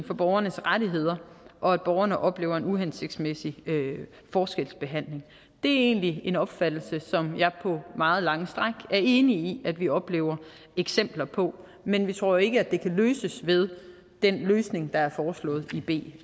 for borgernes rettigheder og at borgerne oplever en uhensigtsmæssig forskelsbehandling det er egentlig den opfattelse som jeg på meget lange stræk er enig i at vi oplever eksempler på men vi tror ikke at det kan løses med den løsning der er foreslået i b